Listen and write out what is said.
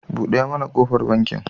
Buɗe mana kofar banki.